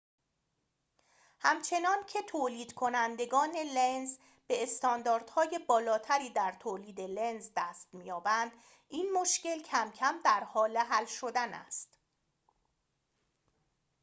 همچنان‌که تولیدکنندگان لنز به استانداردهای بالاتری در تولید لنز دست می‌یابند این مشکل کم‌کم در حال حل شدن است